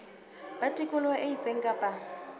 ba tikoloho e itseng kapa